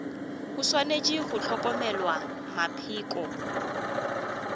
go swanetše go hlokomelwa mapheko